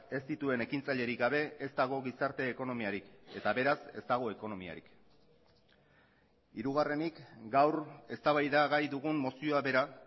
ez dituen ekintzailerik gabe ez dago gizarte ekonomiarik eta beraz ez dago ekonomiarik hirugarrenik gaur eztabaidagai dugun mozioa bera